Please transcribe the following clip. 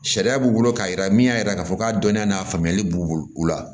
Sariya b'u bolo k'a yira min y'a yira k'a fɔ k'a dɔnnen n'a faamuyali b'u bolo u la